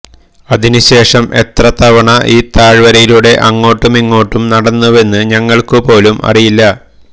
അതിനുശേഷം എത്ര തവണ ഈ താഴ്വരയിലൂടെ അങ്ങോട്ടുമിങ്ങോട്ടും നടന്നുവെന്ന് ഞങ്ങള്ക്കുപോലും അറിയില്ല